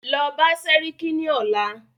Lọ bá sẹ́ríkí ní ọ̀la!